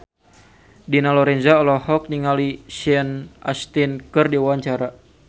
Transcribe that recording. Dina Lorenza olohok ningali Sean Astin keur diwawancara